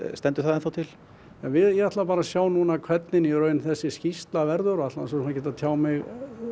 stendur það ennþá til ég ætla að sjá hvernig þessi skýrsla verður ætla þá ekki að tjá mig